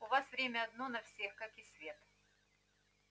у вас время одно на всех как и свет